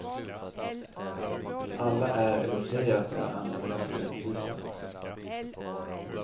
Alla är eller säger att de är anhängare av rättvisa.